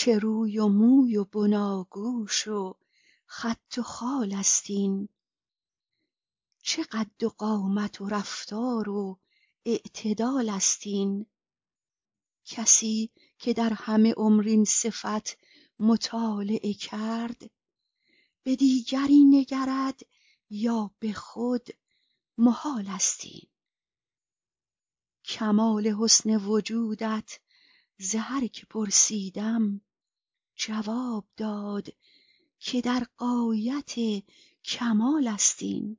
چه روی و موی و بناگوش و خط و خال است این چه قد و قامت و رفتار و اعتدال است این کسی که در همه عمر این صفت مطالعه کرد به دیگری نگرد یا به خود محال است این کمال حسن وجودت ز هر که پرسیدم جواب داد که در غایت کمال است این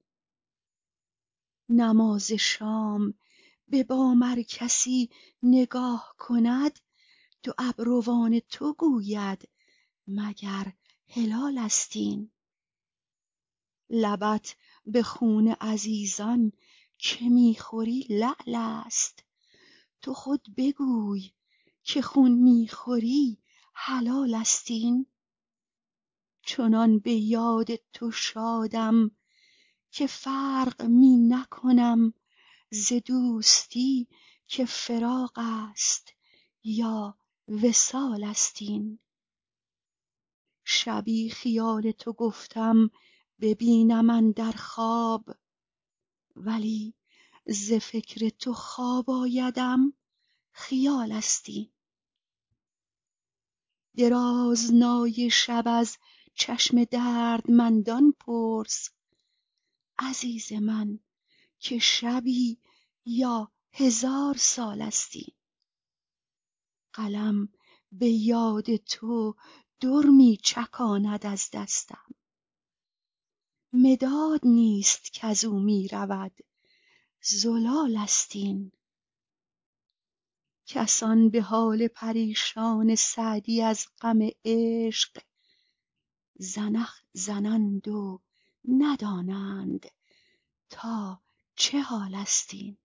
نماز شام به بام ار کسی نگاه کند دو ابروان تو گوید مگر هلالست این لبت به خون عزیزان که می خوری لعل است تو خود بگوی که خون می خوری حلال است این چنان به یاد تو شادم که فرق می نکنم ز دوستی که فراق است یا وصال است این شبی خیال تو گفتم ببینم اندر خواب ولی ز فکر تو خواب آیدم خیال است این درازنای شب از چشم دردمندان پرس عزیز من که شبی یا هزار سال است این قلم به یاد تو در می چکاند از دستم مداد نیست کز او می رود زلال است این کسان به حال پریشان سعدی از غم عشق زنخ زنند و ندانند تا چه حال است این